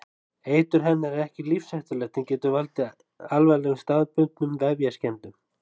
Eitur hennar er ekki lífshættulegt en getur valdið alvarlegum staðbundnum vefjaskemmdum.